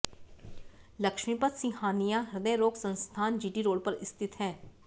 लक्ष्मीपत सिंहानिया हृदय रोग संस्थान जीटी रोड पर स्थित है